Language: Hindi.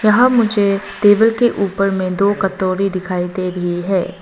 यहां मुझे तेबल के ऊपर में दो कतोरी दिखाई दे रही है।